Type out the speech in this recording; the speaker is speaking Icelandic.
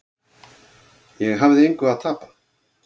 Ég hafði engu að tapa.